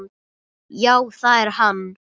Já, það er hann.